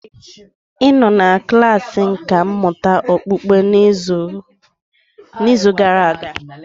Ị nọ na klasị nkà mmụta okpukpe n'izu gara aga?